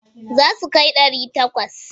Za su kai ɗari takwas.